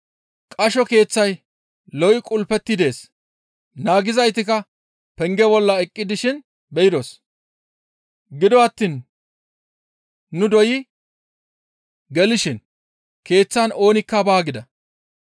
«Qasho keeththay lo7i qulpeti dees; naagizaytikka penge bolla eqqi dishin nu be7idos; gido attiin nu doyi gelishin keeththan oonikka baa» gida.